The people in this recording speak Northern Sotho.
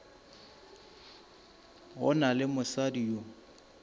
go na le mosadi yo